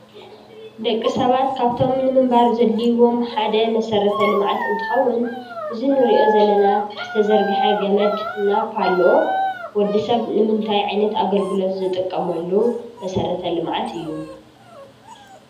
ደቂ ሰባት ካብቶም ንምንባረ ዘዲሊዎም ሓደ መሰረተ ልምዓት እንተከውን እዚ ነሪኦ ዘለና ዝተዘርገሐ ገመድ እና ፓሎ ወድስብ ንምነታይ ዓይነት ዝጥቀመሉ መሰረተ ልምዓት እዩ?